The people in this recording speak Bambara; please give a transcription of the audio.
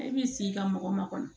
I b'i sigi ka mɔgɔ makɔnɔ